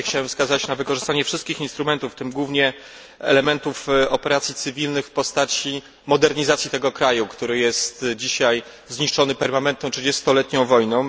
Tutaj chciałbym wskazać na wykorzystanie wszystkich instrumentów, w tym głównie elementów operacji cywilnych w postaci modernizacji tego kraju, który jest dzisiaj zniszczony permanentną 30 letnią wojną.